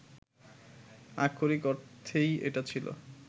আক্ষরিক অর্থেই এটা ছিল